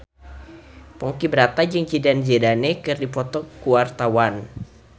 Ponky Brata jeung Zidane Zidane keur dipoto ku wartawan